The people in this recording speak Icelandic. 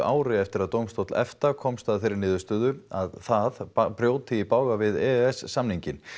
ári eftir að dómstóll EFTA komst að þeirri niðurstöðu að það brjóti í bága við e e s samninginn